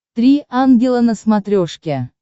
три ангела на смотрешке